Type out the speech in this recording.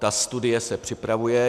Ta studie se připravuje.